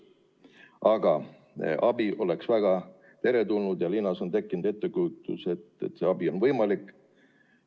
Aga abi oleks väga teretulnud ja linnas on tekkinud ettekujutus, et see abi on võimalik.